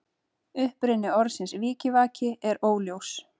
Uppruni orðsins vikivaki er óljós.